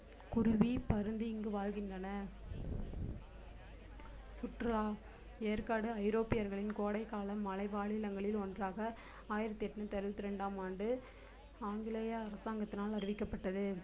குருவி, பருந்து இங்கு வாழ்கின்றன சுற்றுலா ஏற்காடு ஐரோப்பியர்களின் கோடைக்கால மலை வாழிடங்களில் ஒன்றாக ஆயிரத்தி எண்ணுற்று அறுபத்தி இரண்டாம் ஆண்டு ஆங்கிலேய அரசாங்கத்தினால் அறிவிக்கப்பட்டது